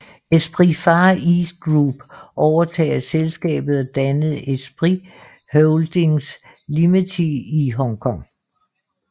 Esprit Far East Group overtog selskabet og dannede Esprit Holdings Limited i Hong Kong